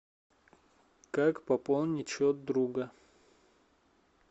как пополнить счет друга